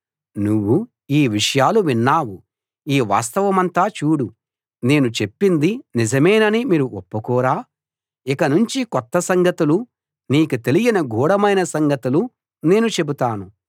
నువ్వు ఈ విషయాలు విన్నావు ఈ వాస్తవమంతా చూడు నేను చెప్పింది నిజమేనని మీరు ఒప్పుకోరా ఇక నుంచి కొత్త సంగతులు నీకు తెలియని గూఢమైన సంగతులు నేను చెబుతాను